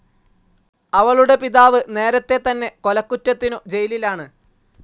അവളുടെ പിതാവ് നേരത്തെ തന്നെ കൊലകുറ്റത്തിനു ജയിലാണ്.